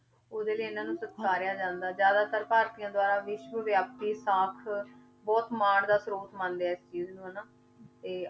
ਉਹਦੇ ਲਈ ਇਹਨਾਂ ਨੂੰ ਸਤਿਕਾਰਿਆ ਜਾਂਦਾ, ਜ਼ਿਆਦਾਤਰ ਭਾਰਤੀਆਂ ਦੁਆਰਾ ਵਿਸ਼ਵ ਵਿਆਪੀ ਸਾਖ ਬਹੁਤ ਮਾਣ ਦਾ ਸਰੋਤ ਮੰਨਦੇ ਆ ਇਸ ਚੀਜ਼ ਨੂੰ ਹਨਾ, ਤੇ